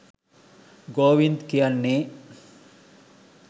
ගෝවින්ද් කියන්නේ